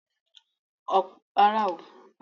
Ọ̀pọ̀ àwọn olórin Nàìjíríà ló máa di ìlúmọ̀-ọ́n-ká lọ́jọ́ iwájú.